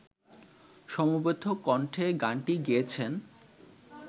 সমবেত কণ্ঠে গানটি গেয়েছেন